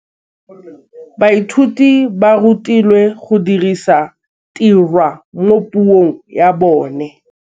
Baithuti ba rutilwe go dirisa tirwa mo puong ya bone.